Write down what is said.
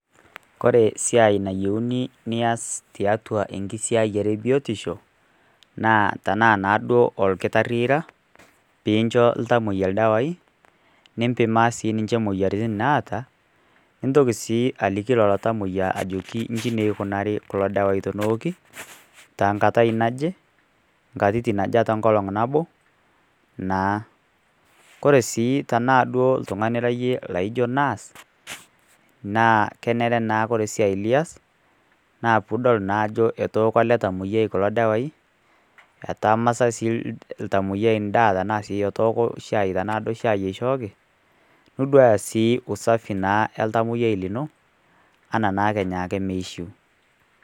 Ore esiai nayiouni nias tiatua enkisiayiare e biotisho, naa tanaa naa duo ira olkitari ira, pee incho iltamwoiya ildawai, nimpimaa naa sininche imoyiaritin naata, nintoki sii ajoki lelo tamwoiya ajoki inji sii eikunaari kulo dawai teneoki, tenkatai naje, inkatitin aja te enkolong' nabo naa. Kore sii tanaa oltung'ani ira iyie laijo nurse naa kenare naa kore esiai lias, naa piidol naa ajo ketooko ele tamwoiyiai kulo dawai, etama sii ltamwoiyai endaa sii tanaa endaa etooko shai tanaa shaai sii duo eishooki, niduaya naa sii usafi oltamwoiyiai lino anaa naa kenya ake omeishiu.